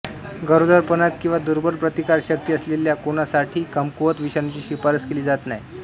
गरोदरपणात किंवा दुर्बल प्रतिकारशक्ती असलेल्या कोणासाठीही कमकुवत विषाणूची शिफारस केली जात नाही